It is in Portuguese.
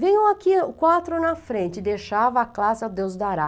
Viam aqui quatro na frente, deixava a classe, adeus dará.